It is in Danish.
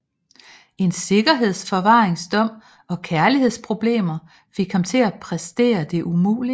En sikkerhedsforvaringsdom og kærlighedsproblemer fik ham til at præstere det umulige